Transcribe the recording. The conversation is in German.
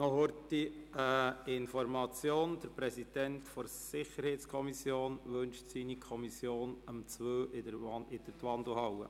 Noch kurz eine Information: Der Präsident der SiK wünscht seine Kommission um 14.00 Uhr in der Wandelhalle zu treffen.